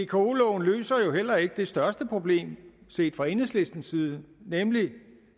vko loven løser jo heller ikke det største problem set fra enhedslistens side nemlig